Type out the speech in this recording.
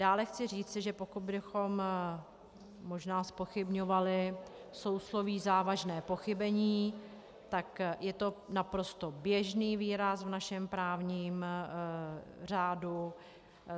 Dále chci říci, že pokud bychom možná zpochybňovali sousloví závažné pochybení, tak je to naprosto běžný výraz v našem právním řádu.